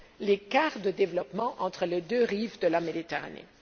les écarts de développement entre les deux rives de la Méditerranée.